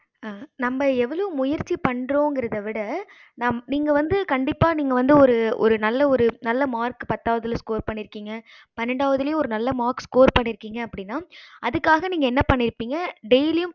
நம்ப எவ்வளோ முயற்சி பன்றோம் அப்படிங்கறத விட நீங்க வந்து கண்டிப்பா நீங்க ஒரு ஒரு நல்ல ஒரு நல்ல mark score பன்னிருகிங்க அப்படின்னா அதுக்காக நீங்க என்ன பன்னிருபிங்க daily